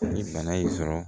Ni bana y'i sɔrɔ